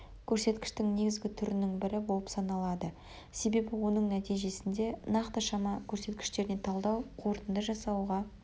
көрсеткіштің негізгі түрінің бірі болып саналады себебі оның нәтижесінде нақты шама көрсеткіштеріне талдау қорытынды жасауға